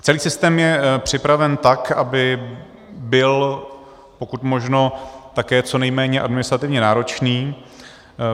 Celý systém je připraven tak, aby byl pokud možno také co nejméně administrativně náročný.